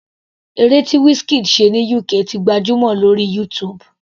Eré tí Wizkid ṣe ní UK ti gbajúmọ̀ lórí YouTube.